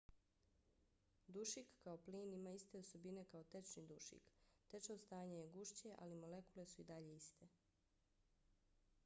dušik kao plin ima iste osobine kao tečni dušik. tečno stanje je gušće ali molekule su i dalje iste